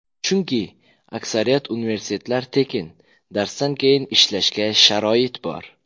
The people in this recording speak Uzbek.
Chunki, aksariyat universitetlar tekin, darsdan keyin ishlashga sharoit bor.